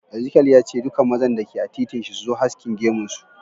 Ezekiel ya ce"Dukan mazan da ke a titin shi su zo haskin gemun su."